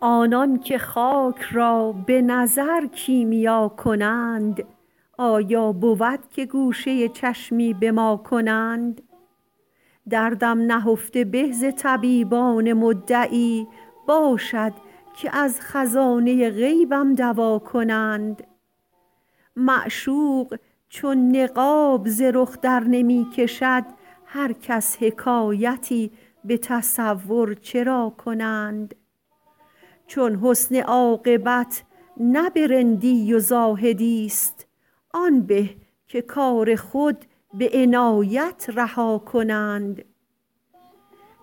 آنان که خاک را به نظر کیمیا کنند آیا بود که گوشه چشمی به ما کنند دردم نهفته به ز طبیبان مدعی باشد که از خزانه غیبم دوا کنند معشوق چون نقاب ز رخ درنمی کشد هر کس حکایتی به تصور چرا کنند چون حسن عاقبت نه به رندی و زاهدی ست آن به که کار خود به عنایت رها کنند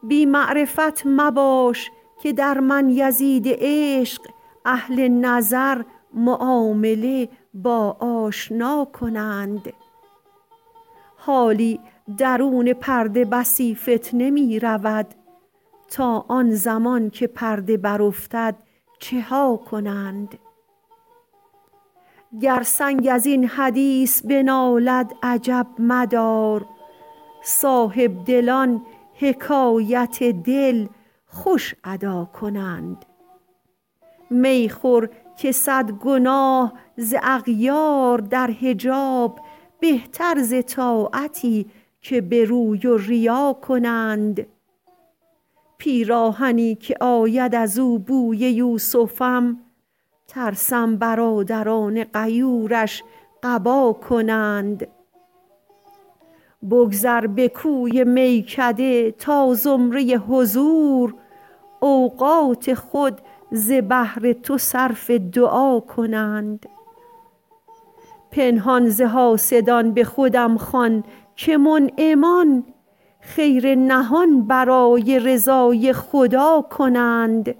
بی معرفت مباش که در من یزید عشق اهل نظر معامله با آشنا کنند حالی درون پرده بسی فتنه می رود تا آن زمان که پرده برافتد چه ها کنند گر سنگ از این حدیث بنالد عجب مدار صاحبدلان حکایت دل خوش ادا کنند می خور که صد گناه ز اغیار در حجاب بهتر ز طاعتی که به روی و ریا کنند پیراهنی که آید از او بوی یوسفم ترسم برادران غیورش قبا کنند بگذر به کوی میکده تا زمره حضور اوقات خود ز بهر تو صرف دعا کنند پنهان ز حاسدان به خودم خوان که منعمان خیر نهان برای رضای خدا کنند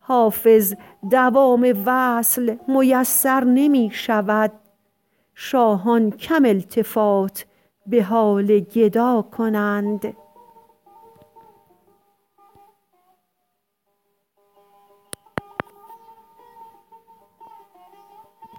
حافظ دوام وصل میسر نمی شود شاهان کم التفات به حال گدا کنند